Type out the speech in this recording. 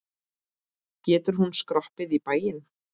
Getur hún skroppið í bæinn?